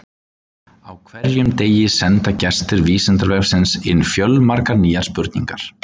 Á hverjum degi senda gestir Vísindavefsins inn fjölmargar nýjar spurningar.